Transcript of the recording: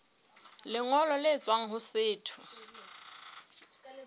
lengolo le tswang ho setho